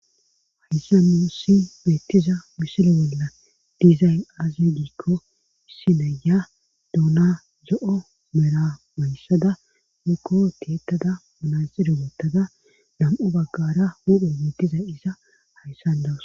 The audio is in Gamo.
Hayssa nuussi beettiza misile bella diizay azi giikko issinaya duuna zo7o mera mayssada mekko teettada manaxire woottada dam7u baggara mudhun beettiza iza hayssan dawus.